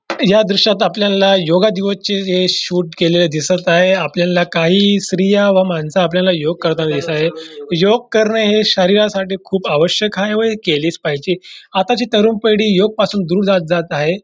या दृश्यात आपल्याला योगा दिवसचे शूट केलेलं दिसत आहे आपल्याला काही स्त्रिया व मानस आपल्याला योग करताना दिसत आहे योग करण हे शरीरासाठी खूप आवश्यक आहे व हे केलेच पाहिजे आताची तरुण पिढी योगपासून दूर जात जात आहे.